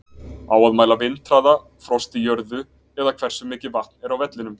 Á að mæla vindhraða, frost í jörðu eða hversu mikið vatn er á vellinum?